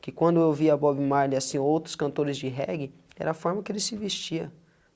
Que quando eu via Bob Marley, assim, outros cantores de reggae, era a forma que ele se vestia.